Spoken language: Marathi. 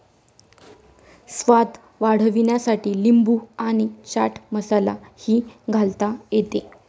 स्वाद वाढविण्यासाठी लिंबू आणि चाट मसाला ही घालता येते.